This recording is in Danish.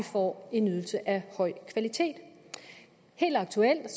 får en ydelse af høj kvalitet helt aktuelt er